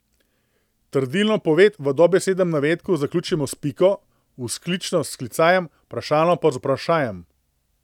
Trdilno poved v dobesednem navedku zaključimo s piko, vzklično s klicajem, vprašalno pa z vprašajem.